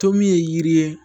To min ye yiri ye